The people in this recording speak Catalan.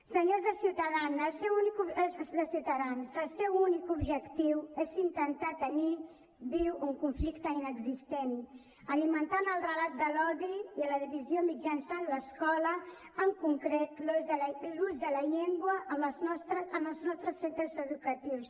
senyors de ciutadans el seu únic objectiu és intentar tenir viu un conflicte inexistent alimentant el relat de l’odi i la divisió mitjançant l’escola en concret l’ús de la llengua en els nostres centres educatius